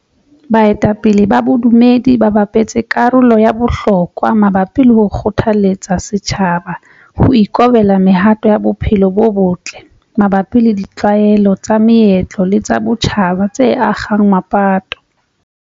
Baetapele ba bodumedi ba bapetse karolo ya bohlokwa mabapi le ho kgothaletsa setjhaba ho ikobela mehato ya bophelo bo botle mabapi le ditlwaelo tsa meetlo le tsa botjhaba tse akgang mapato.